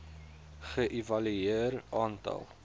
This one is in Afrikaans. ge evalueer aantal